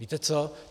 Víte co?